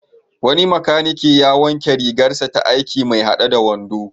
Wani makanike ya wanke rigarsa ta aiki mai haɗe da wando.